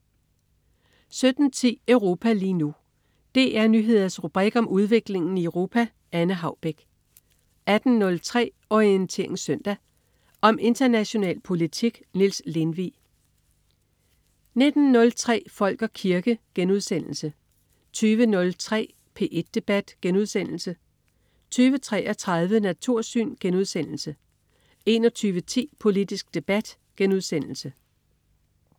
17.10 Europa lige nu. DR Nyheders rubrik om udviklingen i Europa. Anne Haubek 18.03 Orientering Søndag. Om international politik. Niels Lindvig 19.03 Folk og kirke* 20.03 P1 Debat* 20.33 Natursyn* 21.10 Politisk debat*